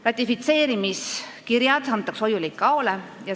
Ratifitseerimiskirjad antakse hoiule ICAO-le.